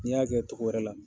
Ni y'a kɛ togo wɛrɛ la